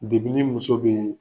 ni muso bɛ yen